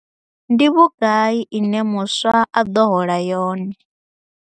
Ndi vhugai ine muswa a ḓo hola yone?